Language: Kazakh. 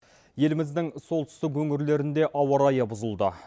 елімізідің солтүстік өңірлерінде ауа райы бұзылды